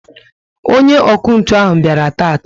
onye ọkụ ntụ bịara taata